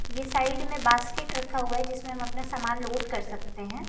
ये साइड में बास्केट रखा हुआ है जिसमें हम अपना सामान लोड कर सकते हैं।